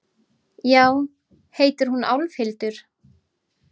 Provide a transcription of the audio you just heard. Já, heitir hún Álfhildur?